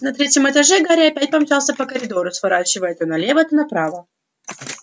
на третьем этаже гарри опять помчался по коридору сворачивая то налево то направо